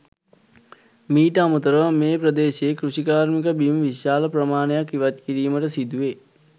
මීට අමතර ව මේ ප්‍රදේශයේ කෘෂිකාර්මික බිම් විශාල ප්‍රමාණයක් ඉවත් කිරීමට සිදු වේ.